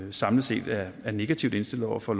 vi samlet set er negativt indstillet over for